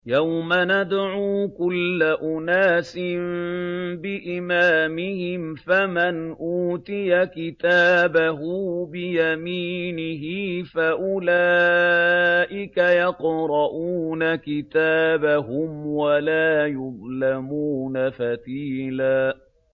يَوْمَ نَدْعُو كُلَّ أُنَاسٍ بِإِمَامِهِمْ ۖ فَمَنْ أُوتِيَ كِتَابَهُ بِيَمِينِهِ فَأُولَٰئِكَ يَقْرَءُونَ كِتَابَهُمْ وَلَا يُظْلَمُونَ فَتِيلًا